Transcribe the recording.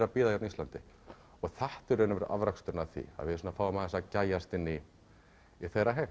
að bíða hérna á Íslandi og þetta er í rauninni afraksturinn af því við fáum aðeins að gægjast inn í þeirra heim